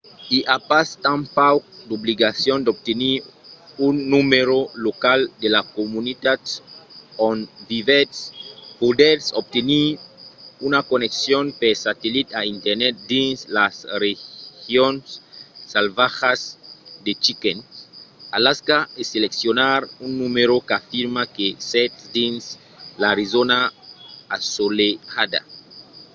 i a pas tanpauc d'obligacion d'obtenir un numèro local de la comunitat on vivètz; podètz obtenir una conneccion per satellit a internet dins las regions salvatjas de chicken alaska e seleccionar un numèro qu'afirma que sètz dins l’arizòna assolelhada